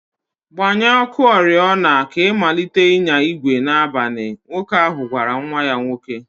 Gbanye ọkụ oriọna ka ị malite ịnya igwe n'abalị" Nwoke ahụ gwara nwa ya nwoke.